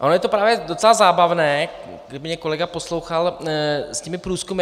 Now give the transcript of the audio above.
No ono je to právě docela zábavné - kdyby mě kolega poslouchal - s těmi průzkumy.